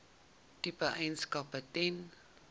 tipe eienaarskap ten